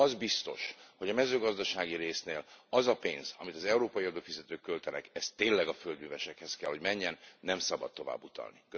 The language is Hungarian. Az biztos, hogy a mezőgazdasági résznél az a pénz, amit az európai adófizetők költenek, az tényleg a földművesekhez kell, hogy menjen, nem szabad tovább utalni.